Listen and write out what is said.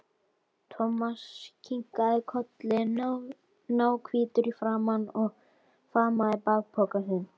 Thomas kinkaði kolli, náhvítur í framan, og faðmaði bakpokann sinn.